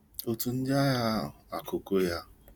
Otú ndị agha akụ go ya